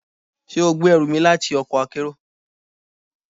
Ṣe o gbe ẹru mi lati ọkọ akero?